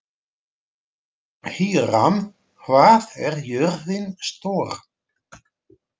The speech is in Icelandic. Híram, hvað er jörðin stór?